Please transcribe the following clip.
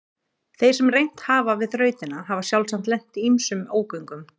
Þeir sem reynt hafa við þrautina hafa sjálfsagt lent í ýmsum ógöngum.